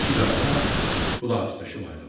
İki qardaş xudahafizləşib ayrıldı.